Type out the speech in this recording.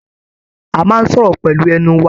A máa n sọ̀rọ̀ pẹlu ẹnu wá.